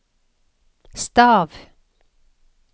stav